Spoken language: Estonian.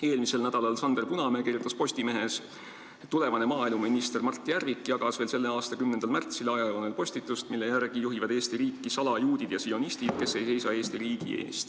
Eelmisel nädalal kirjutas Sander Punamäe Postimehes: "Tulevane maaeluminister Mart Järvik jagas veel selle aasta 10. märtsil oma Facebooki ajajoonel postitust, mille järgi juhivad Eesti riiki „salajuudid ja sionistid".